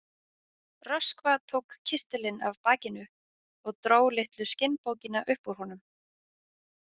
Röskva tók kistilinn af bakinu og dró litlu skinnbókina upp úr honum.